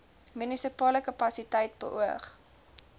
munisipale kapasiteit beoog